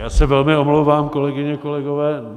Já se velmi omlouvám, kolegyně, kolegové.